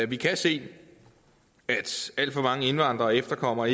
vi kan se at alt for mange indvandrere og efterkommere